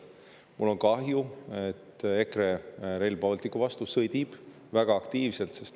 Mul on kahju, et EKRE Rail Balticu vastu väga aktiivselt sõdib.